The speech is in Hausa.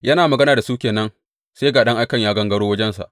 Yana magana da su ke nan, sai ga ɗan aikan ya gangaro wajensa.